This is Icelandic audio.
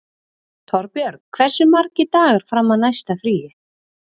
Torbjörg, hversu margir dagar fram að næsta fríi?